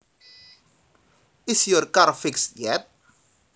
Is your car fixed yet